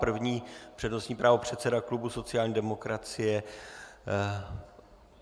První přednostní právo předseda klubu sociální demokracie.